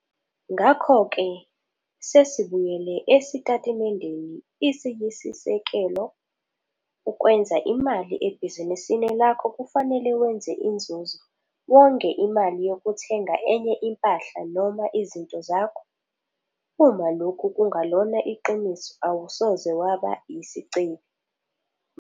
Ngakho ke, sesibuyele esitatimendeni isiyisisekelo, ukwenza imali ebhizinisini lakho kufanele wenze inzuzo wonge imali yokuthenga enye impahla noma izinto zakho. Uma lokhu kungalona iqiniso awusoze waba yisicebi.